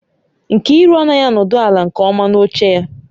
Nkiru anaghị anọdụ ala nke ọma n'oche ya